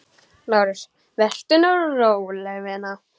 LÁRUS: Vertu nú róleg, vina.